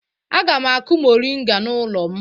Aga m akụ moringa n'ụlọ m.